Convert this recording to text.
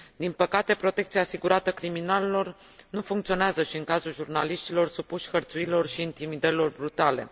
Din păcate, protecția asigurată criminalilor nu funcționează și în cazul jurnaliștilor supuși hărțuirilor și intimidărilor brutale.